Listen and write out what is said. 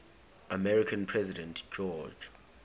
american president george